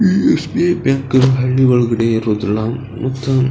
ಈ SBI bank ಈ ಹಳ್ಳಿ ಒಳಗಡೆ ಇರೋದಿಲ್ಲ ಮತ್ತ --